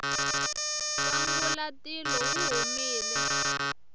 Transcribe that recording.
nkwangulatilo wu humile